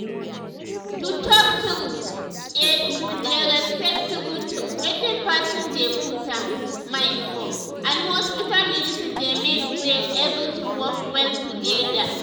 to talk true eh to dey respect true true wetin person dey put im mind for and hospital medicine dey make wey everything work well together